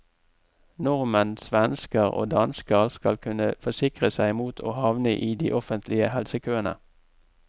Nordmenn, svensker og dansker skal kunne forsikre seg mot å havne i de offentlige helsekøene.